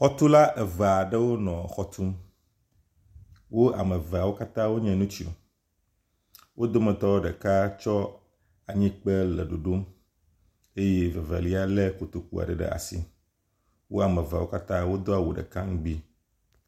Xɔtula eve aɖewo nɔ xɔ tum. Wo ame eveawo katã nye ŋutsu. Wo dometɔ ɖeka tsɔ anyikpe le ɖoɖom eye vevelia le kotoku aɖe ɖe asi. Wo ame eveawo katã wodo awu ɖeka ŋgbi.